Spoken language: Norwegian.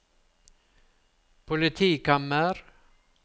politikammer